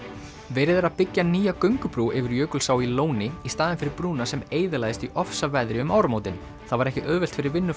verið er að byggja nýja göngubrú yfir Jökulsá í Lóni í staðinn fyrir brúna sem eyðilagðist í ofsaveðri um áramótin það var ekki auðvelt fyrir